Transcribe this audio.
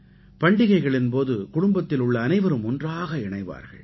பண்டிகைகளின் போது குடும்பத்தில் உள்ள அனைவரும் ஒன்றாக இணைவார்கள்